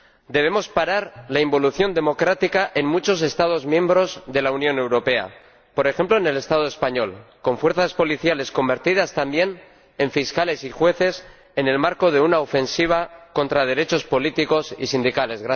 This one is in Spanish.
Debemos parar la involución democrática en muchos Estados miembros de la Unión Europea, por ejemplo en el Estado español, donde las fuerzas policiales han sido convertidas también en fiscales y jueces en el marco de una ofensiva contra derechos políticos y sindicales.